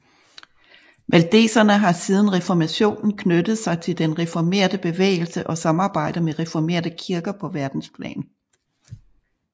Valdeserne har siden reformationen knyttet sig til den reformerte bevægelse og samarbejder med reformerte kirker på verdensplan